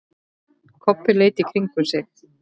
Kobbi leit í kringum sig.